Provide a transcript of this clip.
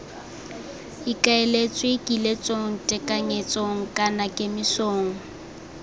ikaeletswe kiletsong tekanyetsong kana kemisong